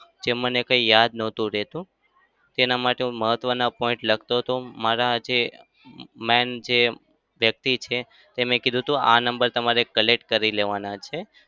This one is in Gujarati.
જે મને કઈ યાદ નહતું રહેતું. તેના માટે હું મહત્વના point લખતો હતો. મારા જે main જે વ્યક્તિ છે તેમણે કીધું હતું આ number collect કરી લેવાના છે.